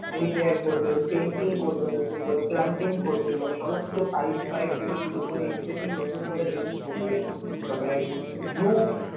Repair করবেন painting করবেন নতুন করে plumbing করবেন মানে সমস্ত pipe ফাইপ থেকে শুরু করে everything নতুন করে change করবেন। তারপরে roof